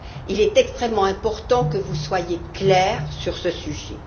Il est extrêmement important que vous soyez claire sur ce sujet.